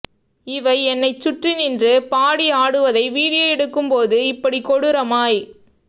இவை என்னைச் சுற்றி நின்று பாடி ஆடுவதை வீடியோ எடுக்கும் போது இப்படி கொடூரமாய்